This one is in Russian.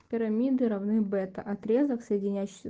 пирамиды равны бета отрезок соединяющийся